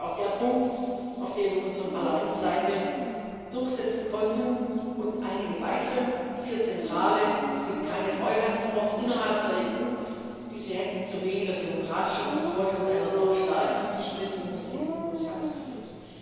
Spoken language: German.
Das ist auch der Punkt, in dem wir uns von Parlamentsseite durchsetzen konnten, und einigen weiteren vier zentralen Es gibt keine Treuhandfonds innerhalb der EU, diese hätten zu weniger demokratischer Kontrolle und einer noch stärkeren Zersplitterung des EU Haushalts geführt.